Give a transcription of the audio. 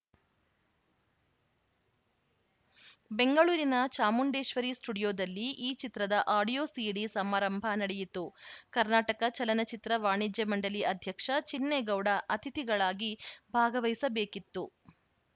ಬೆಂಗಳೂರಿನ ಚಾಮುಂಡೇಶ್ವರಿ ಸ್ಟುಡಿಯೋದಲ್ಲಿ ಈ ಚಿತ್ರದ ಆಡಿಯೋ ಸೀಡಿ ಸಮಾರಂಭ ನಡೆಯಿತು ಕರ್ನಾಟಕ ಚಲನಚಿತ್ರ ವಾಣಿಜ್ಯ ಮಂಡಳಿ ಅಧ್ಯಕ್ಷ ಚಿನ್ನೇಗೌಡ ಅತಿಥಿಗಳಾಗಿ ಭಾಗವಹಿಸಬೇಕಿತ್ತು